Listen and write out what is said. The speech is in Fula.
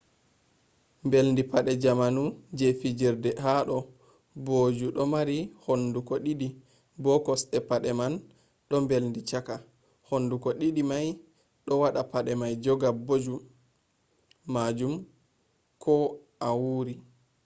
mbeldi pade jamanu je fijirde ha do booju do marii hunduko di'di bo kosde pade man do mbaldi chaka. hunduko di'di mai do wada pade mai joga booju majum ko a wuri